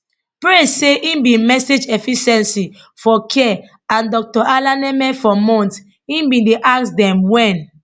praise say im bin message efficiency for care and dr alaneme for months im bin dey ask dem wen